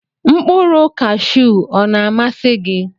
Nkpụrụ kashu ọna amasi gi?